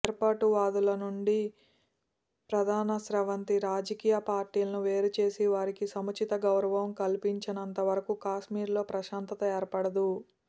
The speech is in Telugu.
వేర్పాటువాదులనుంచి ప్రధానస్రవంతి రాజకీయ పార్టీలను వేరు చేసి వారికి సముచిత గౌరవం కల్పించనంతవరకు కశ్మీర్లో ప్రశాంతత ఏర్పడదు